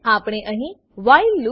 આપણે અહી while loop